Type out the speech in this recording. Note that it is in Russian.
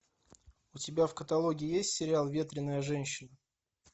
у тебя в каталоге есть сериал ветреная женщина